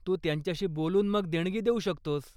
तू त्यांच्याशी बोलून मग देणगी देऊ शकतोस.